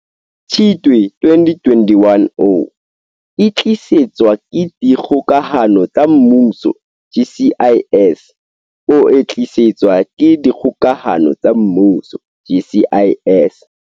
Tshitwe 2021O e tlisetswa ke Dikgokahano tsa Mmuso, GCIS, o e tlisetswa ke Dikgokahano tsa Mmuso GCIS.